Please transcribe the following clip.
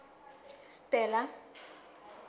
stella